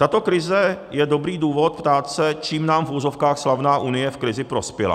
Tato krize je dobrý důvod ptát se, čím nám v uvozovkách slavná Unie v krizi prospěla.